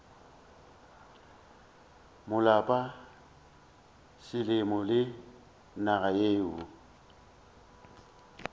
maloba selemo le naga yeo